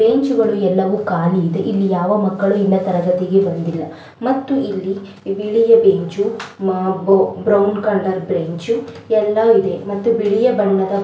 ಬೆಂಚುಗಳು ಎಲ್ಲವು ಖಾಲಿ ಇದೆ ಇಲ್ಲಿ ಯಾವ ಮಕ್ಕಳು ಇನ್ನ ತರಗತಿಗೆ ಬಂದಿಲ್ಲ ಮತ್ತು ಇಲ್ಲಿಯ ವಿವಿಧ ಬೆಂಚು ಬ್ರೌನ್ ಕಲರ್ ಬೆಂಚು ಎಲ್ಲ ಇದೆ ಮತ್ತು ಬಿಳಿಯ ಬಣ್ಣದ --